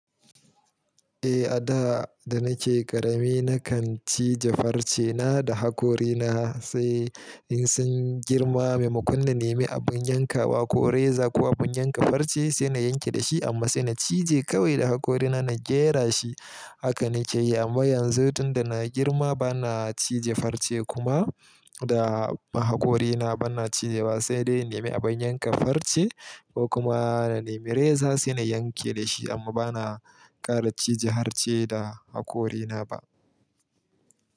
Eh, a da da nake ƙarami na kan cije farce na da hakorina sai in sun girma me mu. Kun na nemi abin yankawa ko reza ko abin yanka farce sai na yanke da shi amma sai na cije kawai da hakorina na jera shi. Haka nike yi amma yanzu tunda na girma bana cije farce kuma da hakorina bana cije ba sai dai in nemi abin yanka farce ko kuma na nemi reza sai na yanke da shi amma bana ƙara cije harce da hakorina ba.